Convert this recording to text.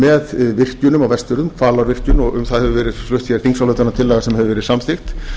með virkjunum á vestfjörðum hvalárvirkjun og um það hefur verið flutt hér þingsályktunartillaga sem hefur verið samþykkt